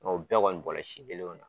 Mɛ o bɛɛ kɔni bɔla si kelenw na